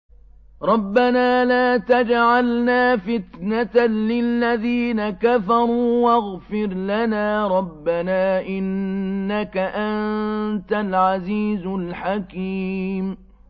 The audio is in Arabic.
رَبَّنَا لَا تَجْعَلْنَا فِتْنَةً لِّلَّذِينَ كَفَرُوا وَاغْفِرْ لَنَا رَبَّنَا ۖ إِنَّكَ أَنتَ الْعَزِيزُ الْحَكِيمُ